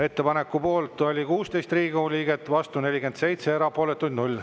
Ettepaneku poolt oli 16 Riigikogu liiget, vastu 47, erapooletuid 0.